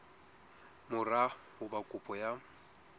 mora ho ba kopo ya